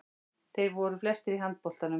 Þeir voru flestir í handboltanum.